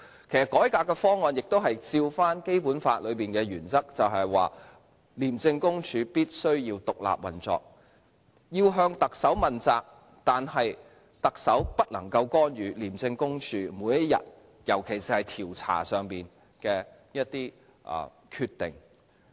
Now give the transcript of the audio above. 其實，改革的方案亦按照《基本法》的原則，就是廉政公署必須獨立運作，要向特首問責，但特首不能夠干預廉政公署每天的運作，尤其是調查方面的決定。